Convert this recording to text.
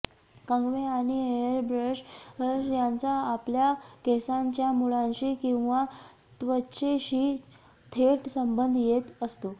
कंगवे आणि hair brush यांचा आपल्या केसांच्या मुळांशी किंवा त्वचेशी थेट संबंध येत असतो